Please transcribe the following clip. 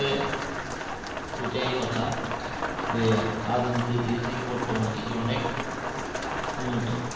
এটাই কথা যে আদিম যুগের কৃষি থেকে বর্তমানের কৃষি অনেক উন্নত